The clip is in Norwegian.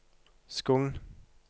Skogn